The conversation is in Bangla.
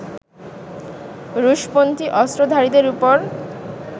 রুশপন্থি অস্ত্রধারীদের ওপর